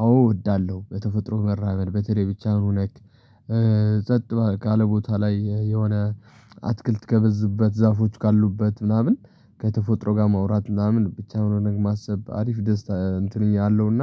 አዎ እወዳለሁ በተፈጥሮ መራመድ በተለይ ብቻህን ሆነክ ጸጥ ካለ ቦታ ላይ የሆነ አትክልት ከበዛበት ዛፎች ካሉበት ምናምን ከተፎጥሮ ጋር ማውራት ምናምን ብቻ ሆኖ ነገር ማሰብ አሪፍ ደስታ እንትንኛ አለው እና